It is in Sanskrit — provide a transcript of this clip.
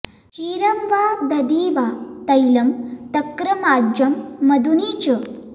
क्षीरं वा दधि वा तैलं तक्रमाज्यं मधूनि च